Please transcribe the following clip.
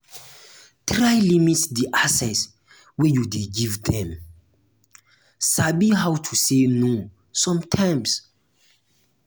try limit di access wey you de give dem um sabi um how to say no sometimes